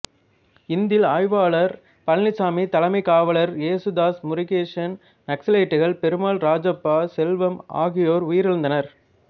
இந்தில் ஆய்வாளர் பழனிச்சாமி தலைமைக் காவலர் ஏசுதாஸ் முருகேசன் நக்சலைட்டுகள் பெருமாள் ராஜப்பா செல்வம் ஆகியோர் உயிரிழந்தனர்